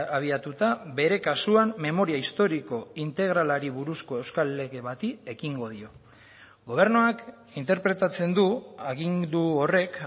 abiatuta bere kasuan memoria historiko integralari buruzko euskal lege bati ekingo dio gobernuak interpretatzen du agindu horrek